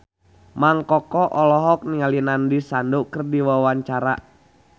Mang Koko olohok ningali Nandish Sandhu keur diwawancara